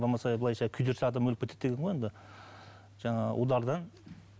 болмаса былайша күйдірсе адам өліп кетеді деген ғой енді жаңағы удардан